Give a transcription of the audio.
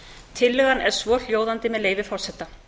tillagan er svohljóðandi með leyfi forseta